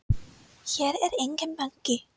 Hér er enginn banki!